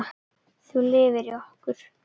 Þú lifir í okkur.